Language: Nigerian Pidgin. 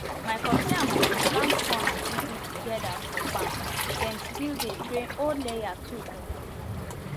my popsi and mumsi plant corn and ugu together farm dem still dey train old layer too for thesame farm